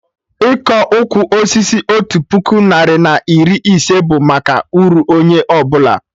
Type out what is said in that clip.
Ịkọ ụkwụ osisi otu puku narị na iri ise bụ maka uru onye ọbụla